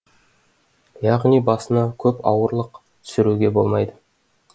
яғни басына көп ауырлық түсіруге болмайды